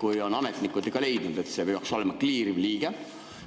Kui ametnikud on leidnud, et see peaks olema "kliiriv liige",